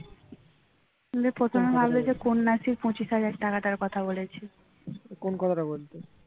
কোন কথাটা বলতে